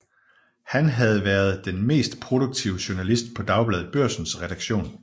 Han havde været den mest produktive journalist på Dagbladet Børsens redaktion